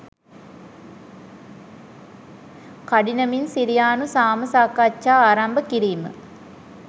කඩිනමින් සිරියානු සාම සාකච්ඡා ආරම්භ කිරීම